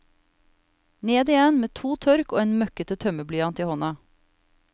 Ned igjen med to tørk og en møkkete tømmerblyanti hånda.